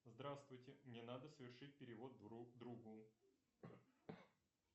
здравствуйте мне надо совершить перевод другу